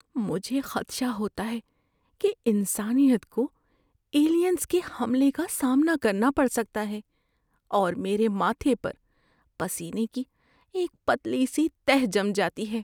مجھے خدشہ ہوتا ہے کہ انسانیت کو ایلینز کے حملے کا سامنا کرنا پڑ سکتا ہے اور میرے ماتھے پر پسینے کی ایک پتلی سی تہہ جم جاتی ہے۔